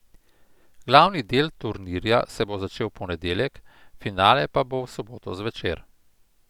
Glavni del turnirja se bo začel v ponedeljek, finale pa bo v soboto zvečer.